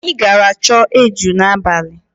Anyị gara chọọ eju n'abalị.